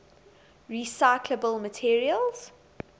recyclable materials